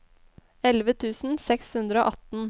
elleve tusen seks hundre og atten